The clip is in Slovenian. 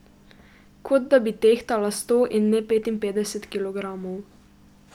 Kot da bi tehtala sto in ne petinpetdeset kilogramov.